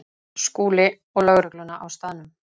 SKÚLI: Og lögregluna á staðnum.